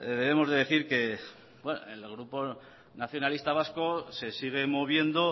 debemos de decir que en el grupo nacionalista vasco se sigue moviendo